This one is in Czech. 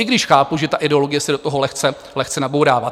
I když chápu, že ta ideologie se do toho lehce nabourává.